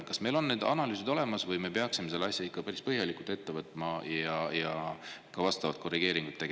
Kas meil on need analüüsid olemas või me peaksime selle asja ikka päris põhjalikult ette võtma ja ka midagi korrigeerima?